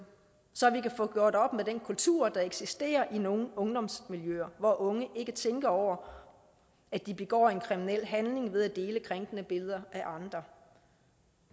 så vi kan få gjort op med den kultur der eksisterer i nogle ungdomsmiljøer hvor unge ikke tænker over at de begår en kriminel handling ved at dele krænkede billeder af andre